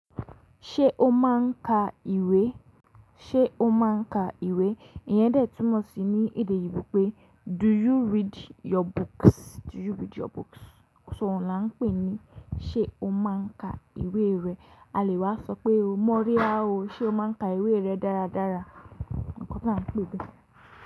Ṣé o máà ń ka ìwé? Ṣé o máa ń ka ìwé? Ìyẹn dẹ̀ túnmọ̀ sí ní èdè eyinbo pé “do you read your books?” Do you read your books? Ṣòún là ń pè ní ṣé o máa ń ka ìwé rẹ. A lè wá sọ pé o mọ́ríá o, ṣé o máa ń ka ìwé rẹ dáradára? Ǹkan lá ń pè bẹ́.